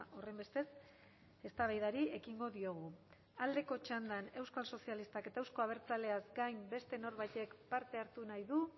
horrenbestez eztabaidari ekingo diogu aldeko txandan euskal sozialistak eta euzko abertzaleaz gain beste norbaitek parte hartu nahi du